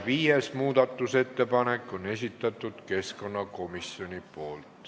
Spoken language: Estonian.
Viienda muudatusettepaneku on esitanud keskkonnakomisjon.